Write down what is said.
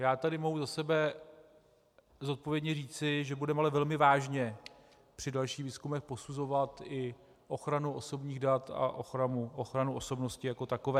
Já tady mohu za sebe zodpovědně říci, že budeme ale velmi vážně při dalších výzkumech posuzovat i ochranu osobních dat a ochranu osobnosti jako takové.